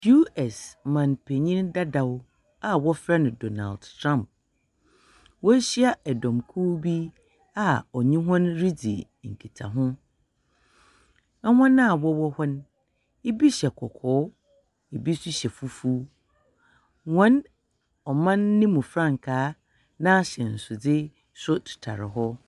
Us mampanyin dadaw a wɔfrɛ no Donald Trump, woehyia dɔmkuw bi a ɔnye hɔn ridzi nkitaho. Hɔn a wɔwɔ no, bi hyɛ kɔkɔɔ, bi hyɛ fufuw, hɔn ɔman no mu frankaa n’ahyɛnsewdze tetar hɔ.